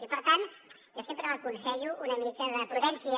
i per tant jo sempre aconsello una mica de prudència